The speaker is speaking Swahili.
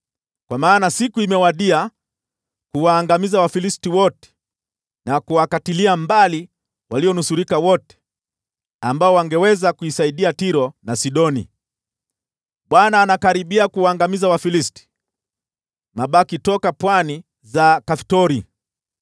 Kwa maana siku imewadia kuwaangamiza Wafilisti wote na kuwakatilia mbali walionusurika wote ambao wangeweza kusaidia Tiro na Sidoni. Bwana anakaribia kuwaangamiza Wafilisti, mabaki toka pwani za Kaftori.